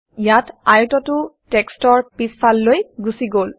ইয়াত আয়তটো টেক্সটৰ পিছফাললৈ গুচি গল